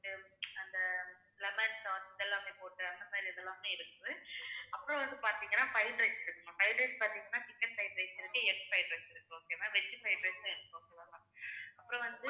அந்த lemon tods இதெல்லாமே போட்டு அந்த மாதிரி இது எல்லாமே இருக்குது. அப்புறம் வந்து பாத்தீங்கன்னா fried rice இருக்கு ma'am fried rice பாத்தீங்கன்னா chicken fried rice இருக்கு egg fried rice இருக்கு okay ma'am veg fried rice உம் இருக்கு okay வா ma'am அப்புறம் வந்து